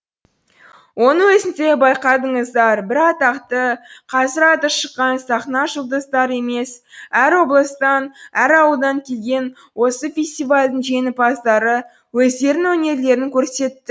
оның өзінде байқадыңыздар бір атақты қазір аты шыққан сахна жұлдыздары емес әр облыстан әр ауылдан келген осы фестивальдің жеңімпаздары өздерінің өнерлерін көрсет